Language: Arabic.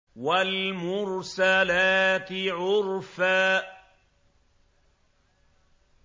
وَالْمُرْسَلَاتِ عُرْفًا